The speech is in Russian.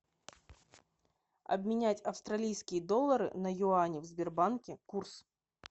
обменять австралийские доллары на юани в сбербанке курс